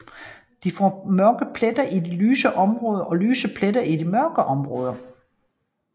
De får mørke pletter i de lyse områder og lyse pletter i de mørke områder